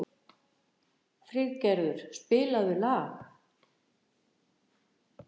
Friðgerður, spilaðu lag.